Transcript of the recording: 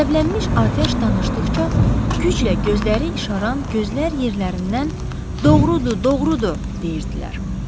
Qəzəblənmiş atəş danışdıqca güclə gözləri işaran gözlər yerlərindən doğrudur, doğrudur deyirdilər.